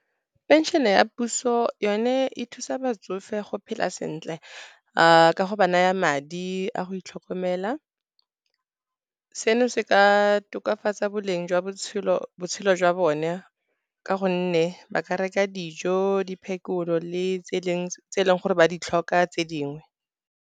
Phenšene ya puso yone e thusa batsofe go phela sentle, ka go ba naya madi a go itlhokomela. Seno se ka tokafatsa boleng jwa botshelo jwa bone, ka gonne ba ka reka dijo, diphekolo le tse e leng gore ba di tlhoka tse dingwe.